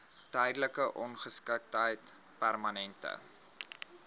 tydelike ongeskiktheid permanente